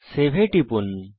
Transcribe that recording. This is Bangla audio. সেভ এ টিপুন